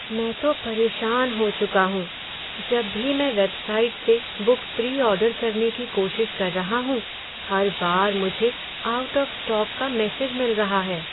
मैं तो परेशान हो चुका हूँ, जब भी मैं वेबसाइट से बुक प्री ऑर्डर करने की कोशिश कर रहा हूँ, हर बार मुझे आउट ऑफ स्टॉक का मैसेज मिल रहा है।